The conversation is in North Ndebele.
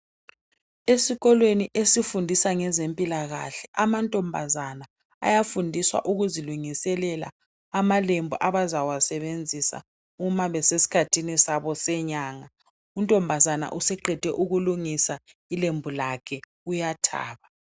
Esikolweni esifundisa ngezempilakahle, amantombazana ayafundiswa ukuzilungiselela amalembu abazawasebenzisa uma besesikhathini sabo senyanga. Untombazane useqede ukulungisa ilembu lakhe uyathaba.